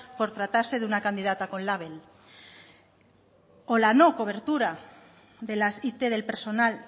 por tratarse de una candidata con label o la no cobertura de las it del personal